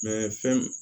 fɛn